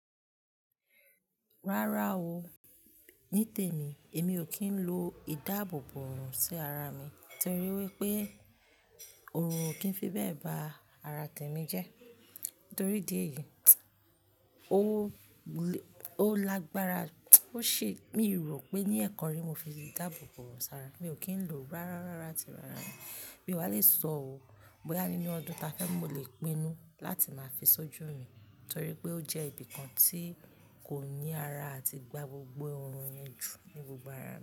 Rárá o, ní tèmi èmi ò kí ń lo ìdáàbòbòrùn sí ara mi torí wípé òrun ò kì í fi bẹ́ẹ̀ ba ara tèmi jẹ́. Nítorí di èyí, o lagbara, ó ṣe-- mi rò pé ní ẹ̀kọ́ ni mo fi dàbòbòrùn sí ara mi, ò kí ń lò rárá, rárá, tí rárá. Mí wà lè sọ o, boya nínú ọdún ta fẹ́ mu mo lè pinnu láti máa fi ṣojú mi torí pé ó jẹ́ ibi kan tí kò ní ara àti gba gbogbo òrùn yẹn jù ní gbogbo ara mi.